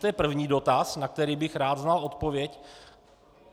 To je první dotaz, na který bych rád znal odpověď.